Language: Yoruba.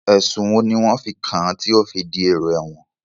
Ẹ̀sùn wo ni wọ́n fi kàn án tí ó fi dèrò ẹ̀wọ̀n?